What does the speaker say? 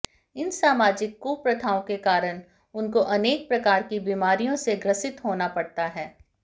इन सामाजिक कुप्रथाओं के कारण उनको अनेक प्रकार की बीमारियों से ग्रसित होना पड़ता है